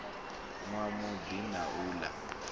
nwa madi na u la